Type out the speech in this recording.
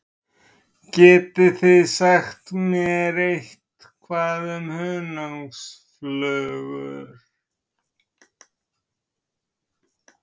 Getið þið sagt mér eitthvað um hunangsflugur?